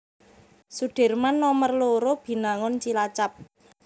Sudirman Nomer loro Binangun Cilacap